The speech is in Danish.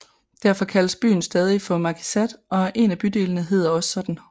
Derfor kaldes byen stadig for markizaat og en af bydelene hedder også sådan